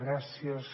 gràcies